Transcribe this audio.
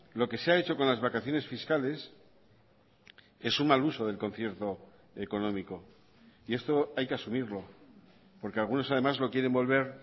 lo que se ha hecho con las vacaciones fiscales es un mal uso del concierto económico y esto hay que asumirlo porque algunos además lo quieren volver